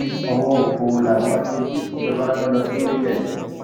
ọwọ òfo làwọn aṣojú tìjọba rán lọ sórílẹ